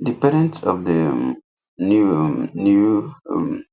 the parents of the um new um new um